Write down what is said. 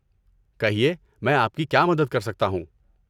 کہیے، میں آپ کی کیا مدد کر سکتا ہوں؟